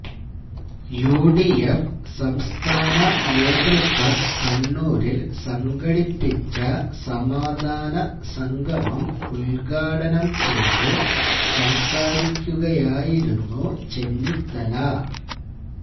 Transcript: U D F സംസ്ഥാനനേതൃത്വം കണ്ണൂരില് സംഘടിപ്പിച്ച സമാധാനസംഗമം ഉദ്ഘാടനം ചെയ്ത് സംസാരിക്കുകയായിരുന്നു ചെന്നിത്തല